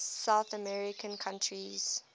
south american countries